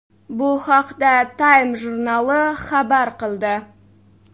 Bu haqda Time jurnali xabar qildi .